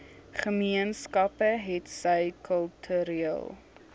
gemeenskappe hetsy kultureel